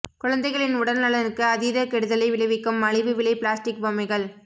குழந்தைகளின் உடல்நலனுக்கு அதீத கெடுதலை விளைவிக்கும் மலிவு விலை பிளாஸ்டிக் பொம்மைகள்